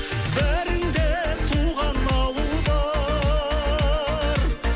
бәріңде туған ауыл бар